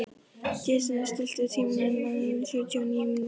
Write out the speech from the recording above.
Jensína, stilltu tímamælinn á sjötíu og níu mínútur.